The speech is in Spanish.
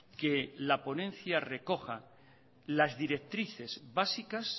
que la ponencia recoja las directrices básicas